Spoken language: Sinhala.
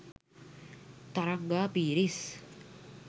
තරංගා පීරිස්